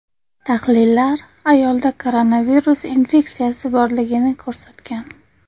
Tahlillar ayolda koronavirus infeksiyasi borligini ko‘rsatgan.